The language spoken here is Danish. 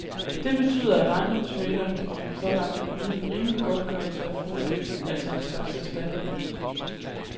Det betyder, at ejendomsmægleren kan blive pålagt at yde en rimelig godtgørelse af forskellen, altså en slags erstatning.